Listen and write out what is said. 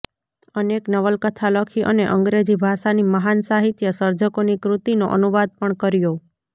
અનેક નવલકથા લખી અને અંગ્રેજી ભાષાની મહાન સાહિત્ય સર્જકોની કૃતિનો અનુવાદ પણ કર્યો